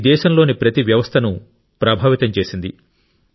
ఇది దేశంలోని ప్రతి వ్యవస్థను ప్రభావితం చేసింది